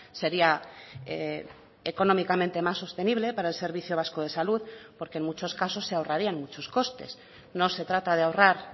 seria económicamente más sostenible para el servicio vasco de salud porque en muchos casos se ahorrarían muchos costes no se trata de ahorrar